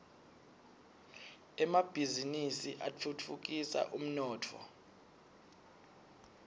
emabhiznnisi atfutfukisa umnotfo